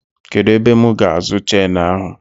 Kedụ ebe m ga-azụ chenu ahụ?